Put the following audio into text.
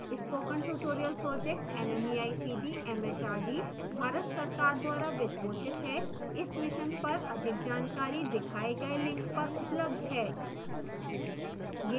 spoken tutorial project nmeict mhrd Bharat सरकार द्वारा वित्त पोषित है इस मिशन पर अधिक जानकारी दिखाए गए लिंक पर उपलब्ध है